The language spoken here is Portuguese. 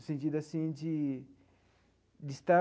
O sentido, assim, de de estar